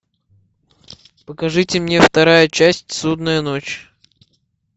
покажите мне вторая часть судная ночь